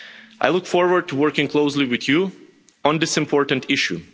I look forward to working closely with you on this important issue.